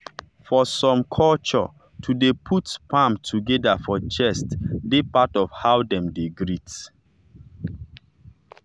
for some cultureto dey put palm together for chest dey part of how dem dey greet.